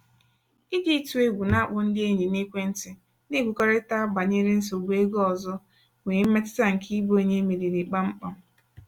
iji ịtụ egwu na-akpọ ndị enyi n'ekwentị na-ekwurịta banyere nsogbu ego ọzọ nwee mmetụta nke ịbụ onye e meriri kpam kpam.